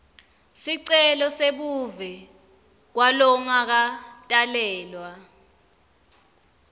sicelo sebuve kwalongakatalelwa